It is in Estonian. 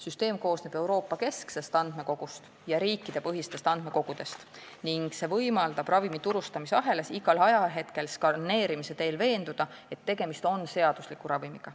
Süsteem koosneb Euroopa kesksest andmekogust ja riikidepõhistest andmekogudest ning see võimaldab ravimi turustamise ahelas igal ajahetkel skaneerimise teel veenduda, kas tegemist on seadusliku ravimiga.